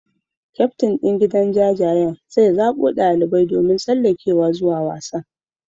Kyaftin din gidan jajayen zai zabo dalibai domin tsallakewa zuwa wasan.